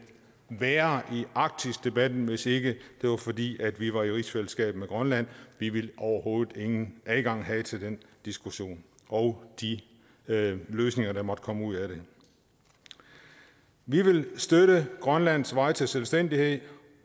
være i arktisdebatten hvis ikke det var fordi vi var i rigsfællesskab med grønland vi ville overhovedet ingen adgang have til den diskussion og de løsninger der måtte komme ud af den vi vil støtte grønlands vej til selvstændighed